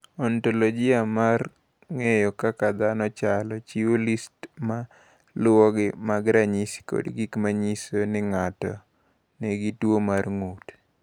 "Ontoloji mar ng’eyo kaka dhano chalo, chiwo list ma luwogi mag ranyisi kod gik ma nyiso ni ng’ato nigi tuwo mar ng’ut."